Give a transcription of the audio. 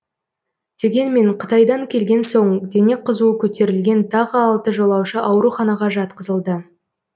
дегенмен қытайдан келген соң дене қызуы көтерілген тағы алты жолаушы ауруханаға жатқызылды